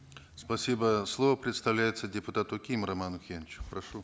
спасибо слово предоставляется депутату ким роману охеновичу прошу